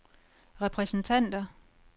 repræsentanter